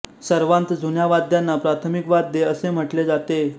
सर्वांत जुन्या वाद्यांना प्राथमिक वाद्ये असे म्हटले जाते